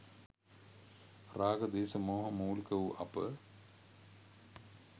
රාග, ද්වේශ, මෝහ මූලික වූ අප